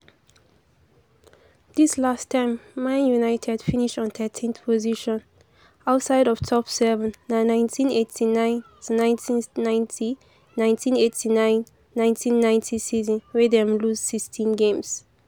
di last time man united finish on thirteenth position - outside of top seven na nineteen eighty nine to nineteen ninety nineteen eighty nine ninet ten ninety season wia dem lose sixteen games.